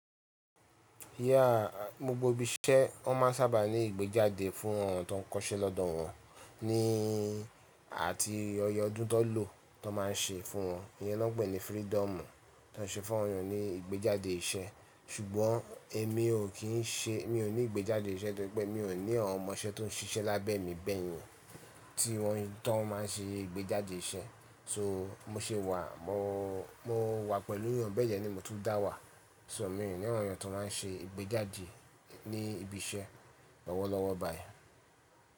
Yeah, gbogbo ibi iṣẹ́ wọ́n máa sábà ní ìgbéjáde fún ọ̀rọ̀ tó ń kọ́ṣẹ́ lọ́dọ̀ wọn, ní àti ọyẹyẹ ọdún tó lọ tó máa ń ṣe fún wọn. Iyẹn ló gbẹ̀ ni freedom tó ń ṣe fún ọ̀rọ̀ ní ìgbéjáde iṣẹ́. Ṣùgbọ́n èmi ò kí ń ṣe, mi ò ní ìgbéjáde iṣẹ́, torípẹ́ mi ò ní Awón ọmọ iṣẹ́ tó ń ṣiṣẹ́ lábẹ́ mi bẹ́yìn, tí wọ́n tó máa ń ṣe ìgbéjáde iṣẹ́. So mo ṣe wà, mo, mo wà pẹ̀lú ìyan bẹ́ẹ̀ ni mo tún dá wà. So mi ò ní Awón ènìyàn tó máa ń ṣe ìgbéjáde ní ibi iṣẹ́ lọ́wọ́lọ́wọ́ báyìí.